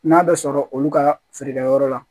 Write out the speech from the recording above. N'a bɛ sɔrɔ olu ka feerekɛyɔrɔ la